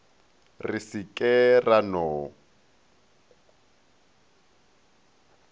re se ke ra no